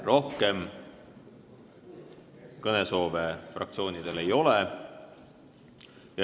Rohkem kõnesoove fraktsioonidel ei ole.